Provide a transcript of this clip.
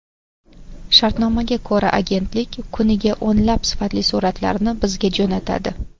Shartnomaga ko‘ra, agentlik kuniga o‘nlab sifatli suratlarni bizga jo‘natadi.